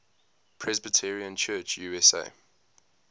presbyterian church usa